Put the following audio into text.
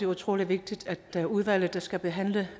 utrolig vigtigt at udvalget der skal behandle